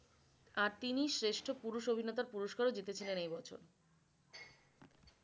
আর তিনি শ্রেষ্ঠ পুরুষ অভিনেতার পুরস্কার ও জিতেছিলেন এই বছর।